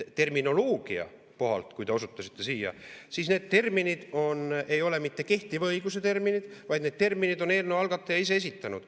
Terminoloogia kohalt, kui te osutasite sellele, siis need terminid ei ole mitte kehtiva õiguse terminid, vaid need terminid on eelnõu algataja ise esitanud.